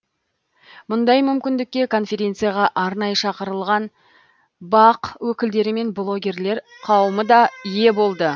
мұндай мүмкіндікке конференцияға арнайы шақырылған бақ өкілдері мен блогерлер қауымы да ие болды